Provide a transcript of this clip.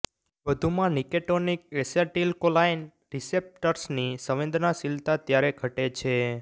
વધુમાં nicotinic acetylcholine રીસેપ્ટર્સની સંવેદનશીલતા ત્યારે ઘટે છે